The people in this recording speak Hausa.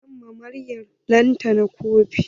Zan siya ma 'yar lantana kofi.